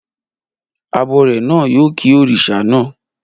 Abọrẹ̀ náà yóò ki òrìṣà naa